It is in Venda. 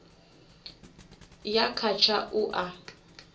ya kha tsha u a